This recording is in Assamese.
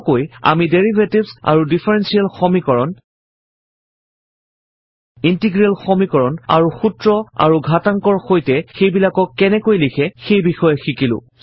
চমুকৈ আমি ডেৰিভেটিভছ আৰু ডিফাৰেনশ্বিয়েল সমীকৰণ ইন্টিগ্ৰেল সমীকৰণ আৰু সূত্ৰ আৰু ঘাতাংকৰ সৈতে সেইবিলাকক কেনেকৈ লিখে সেই বিষয়ে শিকিলো